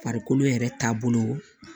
Farikolo yɛrɛ taabolo